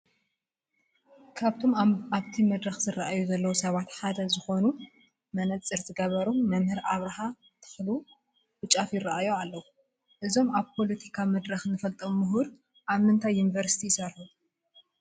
ካብቶም ኣብቲ መድረኽ ዝርአዩ ዘለዉ ሰባት ሓደ ዝኾኑ መነፀር ዝገበሩ መምህር ኣብርሃ ተኽሉ ብጫፍ ይርአዩና ኣለዉ፡፡ እዞም ኣብ ፖለቲካ መድረኽ ንፈልጦም ምሁር ኣብ ምንታይ ዩኒቨርሲቲ ይሰርሑ?